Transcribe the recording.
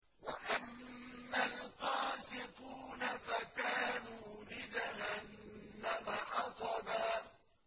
وَأَمَّا الْقَاسِطُونَ فَكَانُوا لِجَهَنَّمَ حَطَبًا